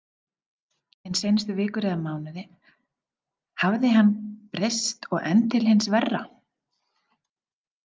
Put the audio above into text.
En seinustu vikur eða mánuði, hafði hann breyst og enn til hins verra?